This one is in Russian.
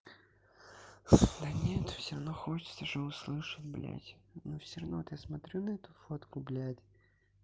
да нет всё равно хочется же услышать блядь но всё равно вот я смотрю на эту фотку блядь